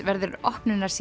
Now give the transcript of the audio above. verður